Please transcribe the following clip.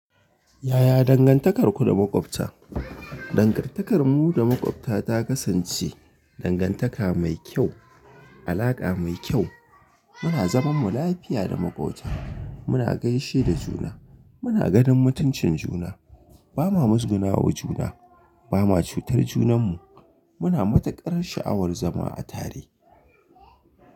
Yaya dangantakarku da maƙwabta? Dangantakar mu da maƙwabta ta kasance dangantaka mai kyau, alaƙa mai kyau. Muna zaman mu lafiya da maƙwabta. Muna gaishe da juna. Muna ganin mutuncin juna. Ba ma musgunawa juna. Ba ma cutar junan mu. Muna matuƙar sha'awar zama a tare.